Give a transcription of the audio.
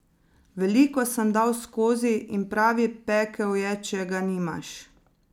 Veliko sem dal skozi in pravi pekel je, če ga nimaš.